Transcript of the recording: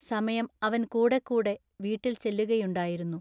സമയം അവൻ കൂടെക്കൂടെ വീട്ടിൽ ചെല്ലുകയുണ്ടായിരുന്നു.